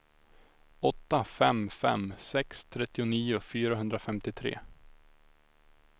åtta fem fem sex trettionio fyrahundrafemtiotre